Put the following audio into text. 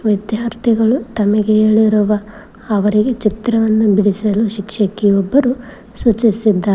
ವಿದ್ಯಾರ್ಥಿಗಳು ತಮಗೆ ಹೇಳಿರುವ ಅವರಿಗೆ ಚಿತ್ರವನ್ನು ಬಿಡಿಸಲು ಶಿಕ್ಷಕಿ ಒಬ್ಬರು ಸೂಚಿಸಿದ್ದಾರೆ.